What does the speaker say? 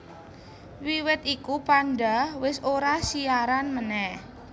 Wiwit iku Panda wis ora siaran meneh